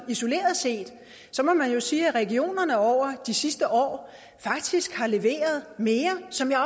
isoleret set må man jo sige at regionerne over de sidste år faktisk har leveret mere som jeg